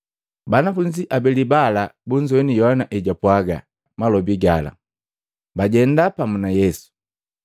Banafunzi abeli bala bunzowini Yohana ejapwaga malobi gala, bajenda pamu na Yesu.